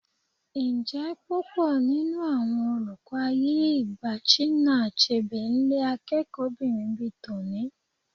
Ǹjẹ́ púpọ̀ nínú àwọn olùkọ́ ayé ìgbà Chinua Achebe ń lé akẹ́kọ̀ọ́bìnrin bi tòní?